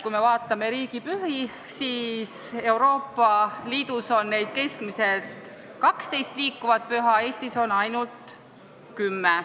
Kui me vaatame riigipühi, siis näeme, et Euroopa Liidus on keskmiselt 12 liikuvat püha, Eestis on ainult 10.